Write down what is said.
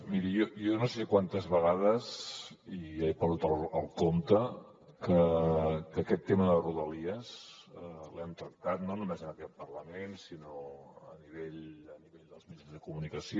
miri jo no sé quantes vegades i ja he perdut el compte aquest tema de rodalies l’hem tractat no només en aquest parlament sinó a nivell dels mitjans de comunicació